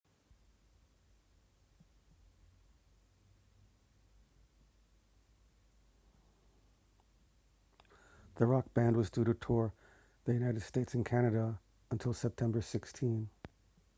the rock band was due to tour the united states and canada until september 16